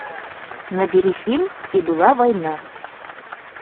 набери фильм и была война